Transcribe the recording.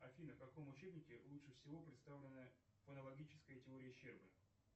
афина в каком учебнике лучше всего представлена фонологическая теория щербы